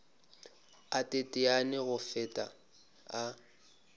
a teteane go feta a